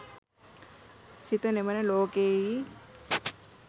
සිත නිවන ලෝකයෙහි